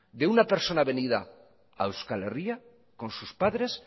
de una persona venida a euskal herria con sus padres